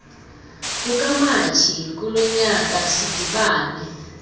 kukamatshi kulonyaka sidibane